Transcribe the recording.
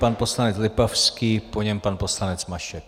Pan poslanec Lipavský, po něm pan poslanec Mašek.